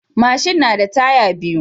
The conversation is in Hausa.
Mashin nada taya biyu